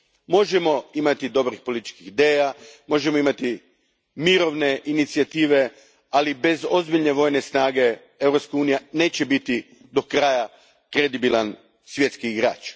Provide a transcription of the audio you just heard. Možemo imati dobrih političkih ideja, možemo imati mirovne inicijative, ali bez ozbiljne vojne snage Europska unija neće biti do kraja kredibilan svjetski igrač.